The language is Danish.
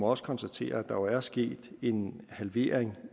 også konstatere at der jo er sket en halvering